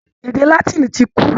Èdè látìnì tí kú.